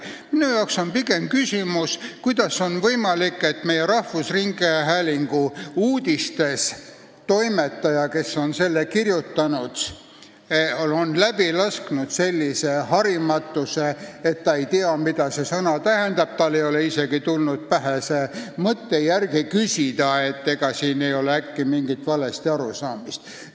Minu arvates on pigem küsimus, kuidas on võimalik, et rahvusringhäälingu uudistetoimetaja, kes on selle uudise kirjutanud, on läbi lasknud sellise harimatuse ilmingu, ta ei tea, mida see sõna tähendab, ja tal ei ole isegi tulnud pähe järele küsida, ega siin ei ole äkki mingit valesti arusaamist.